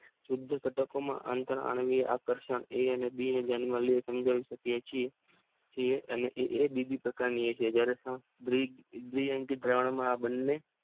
શુદ્ધ ઘટકોમાં આંતર આણ્વીય આકર્ષણ એ અને બી ને ધ્યાનમાં લઈને સમજાવી શકીયે છીએ. એ અને એ બીજી પ્રકારની દ્વિઅંકી દ્રાવણ